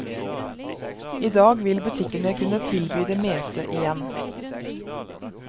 I dag vil butikkene kunne tilby det meste igjen.